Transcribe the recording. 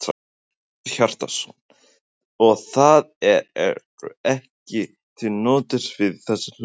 Hjörtur Hjartarson: Og það eru ekki til nótur fyrir þessum hlutum?